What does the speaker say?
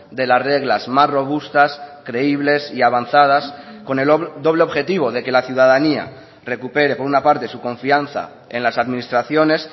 de las reglas más robustas creíbles y avanzadas con el doble objetivo de que la ciudadanía recupere por una parte su confianza en las administraciones